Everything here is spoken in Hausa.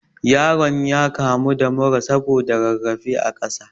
Yaron ya kamu da mura saboda rarrafe a ƙasa